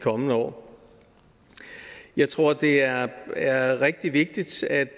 kommende år jeg tror det er er rigtig vigtigt at